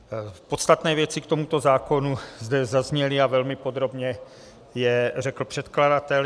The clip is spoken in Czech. Podstatné věci k tomuto zákonu zde zazněly a velmi podrobně je řekl předkladatel.